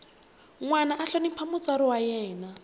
nwana a hlonipha mutswari wa yena